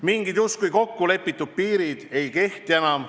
Mingid justkui kokku lepitud piirid ei kehtiks enam.